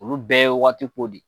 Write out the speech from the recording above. Olu bɛɛ ye waati ko di